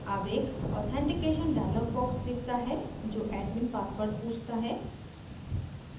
अब एक authentication dialog box दिखता है जो admin password पूछता है